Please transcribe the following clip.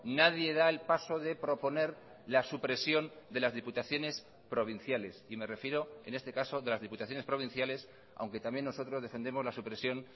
nadie da el paso de proponer la supresión de las diputaciones provinciales y me refiero en este caso de las diputaciones provinciales aunque también nosotros defendemos la supresión